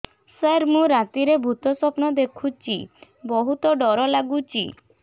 ସାର ମୁ ରାତିରେ ଭୁତ ସ୍ୱପ୍ନ ଦେଖୁଚି ବହୁତ ଡର ଲାଗୁଚି